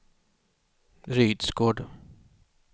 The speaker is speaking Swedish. Rydsgård